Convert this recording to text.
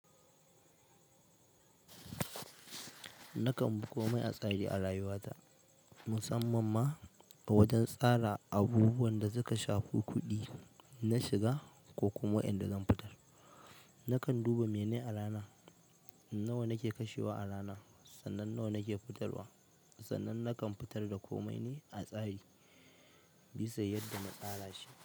Nakan buko mai a tsare a rayuwata, musamman ma a wajen tsara abubuwan da suka shafi kuɗi na shiga ko kuma waɗanda zan fitar. Nakan duba menayi a rana, nawa nake kashewa a rana, sannan nawa nake fitarwa, sannan nakan fitar da komai ne a tsari bisa yadda na tsara shi.